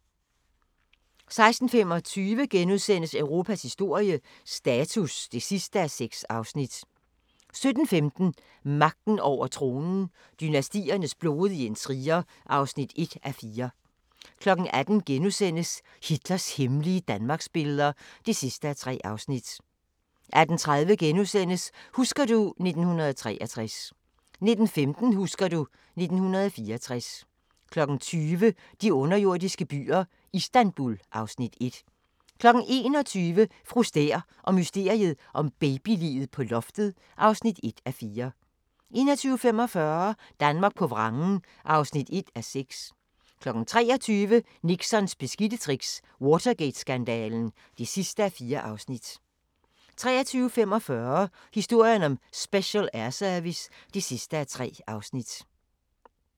16:25: Europas historie – status (6:6)* 17:15: Magten over tronen – dynastiernes blodige intriger (1:4) 18:00: Hitlers hemmelige Danmarksbilleder (3:3)* 18:30: Husker du ... 1963 * 19:15: Husker du ... 1964 20:00: De underjordiske byer - Istanbul (Afs. 1) 21:00: Fru Stæhr og mysteriet om babyliget på loftet (1:4) 21:45: Danmark på vrangen (1:6) 23:00: Nixons beskidte tricks - Watergate-skandalen (4:4) 23:45: Historien om Special Air Service (3:3)